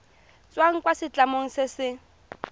tswang kwa setlamong se se